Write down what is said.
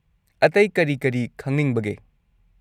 ꯑꯇꯩ ꯀꯔꯤ ꯀꯔꯤ ꯈꯪꯅꯤꯡꯕꯒꯦ?